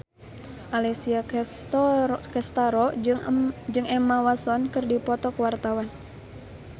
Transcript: Alessia Cestaro jeung Emma Watson keur dipoto ku wartawan